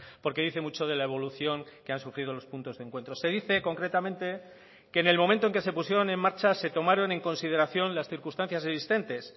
porque dice mucho de la evolución que han sufrido los puntos de encuentros se dice concretamente que en el momento en que se pusieron en marcha se tomaron en consideración las circunstancias existentes